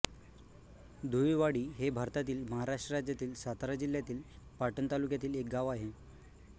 धुईळवाडी हे भारतातील महाराष्ट्र राज्यातील सातारा जिल्ह्यातील पाटण तालुक्यातील एक गाव आहे